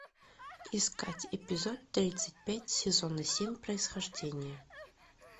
искать эпизод тридцать пять сезона семь происхождение